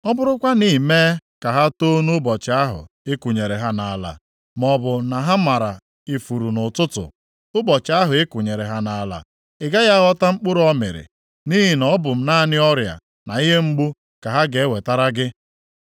ọ bụrụkwa na i mee ka ha too nʼụbọchị ahụ ị kụnyere ha nʼala, maọbụ na ha mara ifuru nʼụtụtụ ụbọchị ahụ ị kụnyere ha nʼala, ị gaghị aghọta mkpụrụ ọ mịrị, nʼihi na ọ bụ naanị ọrịa na ihe mgbu ka ha ga-ewetara gị.